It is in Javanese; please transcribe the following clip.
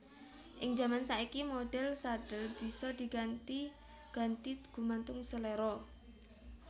Ing jaman saiki modhèl sadhel bisa diganti ganti gumantung seléra